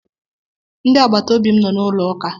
Ndị agbata obi m nọ na ụlọ uka.